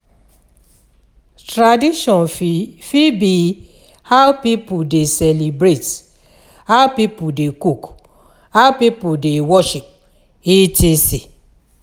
Tradition fit fit be how pipo de celebrate, how pipo de cook, how pipo de worship, etc.